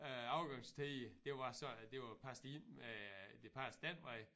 Æ afgangstider det var sådan at det var passet ind med det passede den vej